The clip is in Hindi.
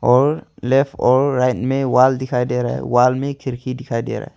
और लेफ्ट और राइट में वॉल दिखाई दे रहा है वॉल में खिड़की दिखाई दे रहा है।